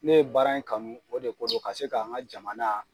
Ne ye baara in kanu o de ko do ka se ka n ka jamana